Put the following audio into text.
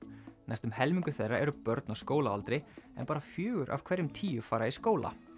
næstum helmingur þeirra eru börn á skólaaldri en bara fjögur af hverjum tíu fara í skóla